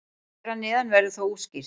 Hér að neðan verður það útskýrt.